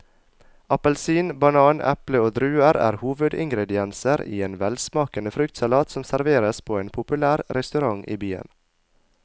Appelsin, banan, eple og druer er hovedingredienser i en velsmakende fruktsalat som serveres på en populær restaurant i byen.